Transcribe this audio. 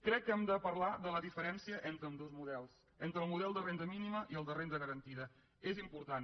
crec que hem de parlar de la diferència entre ambdós models entre el model de renda mínima i el de renda garantida és important